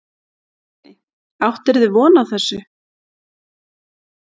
Pálmi: Áttirðu von á þessu?